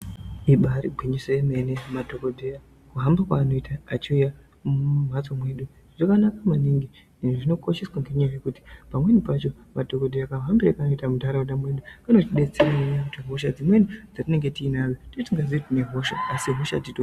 Ibaari gwinyiso yemene, madhokodheya kuhamba kweanoita achiuya mumphatso mwedu, zvakanaka maningi, ende zvinokosheswa ngenyaya yekuti, pamweni pacho madhokodheya kahambire kaanoita muntharaunda mwedu, kanotidetserera kuti hosha dzimweni dzatinge tiinadzo, tinenge tisikazii kuti tine hosha, asi hosha titori nadzo.